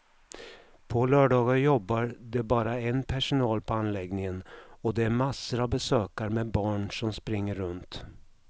På lördagar jobbar det bara en personal på anläggningen och det är massor av besökare med barn som springer runt.